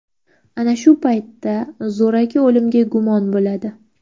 Ana shu paytda zo‘raki o‘limga gumon bo‘ladi.